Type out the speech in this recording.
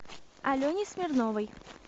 алене смирновой